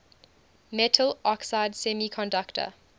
metal oxide semiconductor